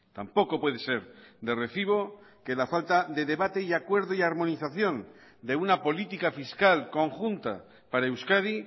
tampoco puede ser de recibo que la falta de debate acuerdo y armonización de una política fiscal conjunta para euskadi